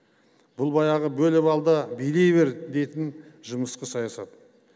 бұл баяғы бөліп ал да билей бер дейтін жұмысқы саясат